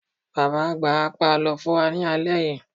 Bàbá-àgbà á pa àlọ́ fún wa ní alẹ́ yìí.